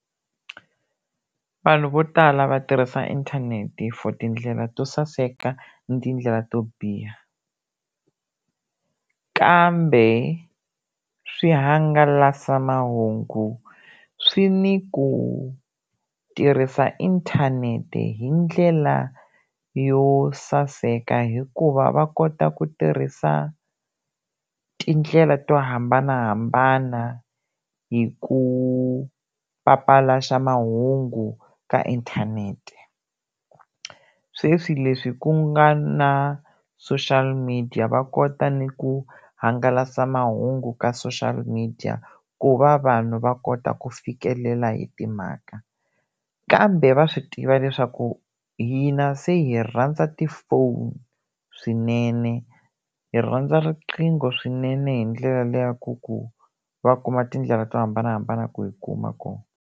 Vanhu vo tala va tirhisa inthanete for tindlela to saseka na tindlela to biha kambe swihangalasamahungu swi ni ku tirhisa inthanete hi ndlela yo saseka hikuva va kota ku tirhisa tindlela to hambanahambana hi ku papalata mahungu ka inthanete sweswi leswi ku nga na social media va kota ni ku hangalasa mahungu ka social media ku va vanhu va kota ku fikelela hi timhaka kambe va swi tiva leswaku hina se hi rhandza ti-phone swinene hi rhandza riqingho swinene hi ndlela liya ya ku ku va kuma tindlela to hambanahambana ku hi kuma kona.